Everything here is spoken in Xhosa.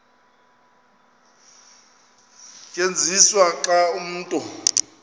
tyenziswa xa umntu